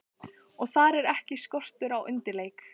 Og þar er ekki skortur á undirleik.